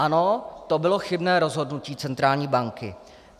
Ano, to bylo chybné rozhodnutí centrální banky.